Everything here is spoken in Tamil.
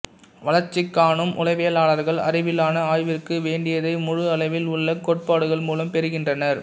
வளர்ச்சி காணும் உளவியலாளர்கள் அறிவிலான ஆய்விற்கு வேண்டியதை முழு அளவில் உள்ள கோட்பாடுகள் மூலம் பெறுகின்றனர்